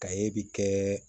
Ka ye bi kɛ